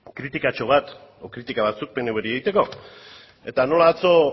kritikatxo bat edo kritika batzuk pnvri egiteko eta nola atzo